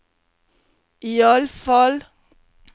iallfall